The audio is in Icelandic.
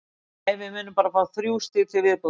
Nei, við munum bara fá þrjú stig til viðbótar.